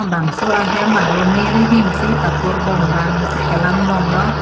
bangso ahem arlo me rihing si patur bongpang si khelan bonglo.